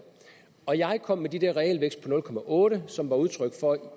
og jeg kom med den der realvækst på nul otte som var udtryk for